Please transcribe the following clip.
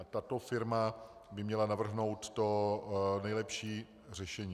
A tato firma by měla navrhnout to nejlepší řešení.